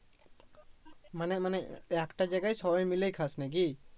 মানে মানে একটা জায়গায় সবাই মিলে খাস নাকি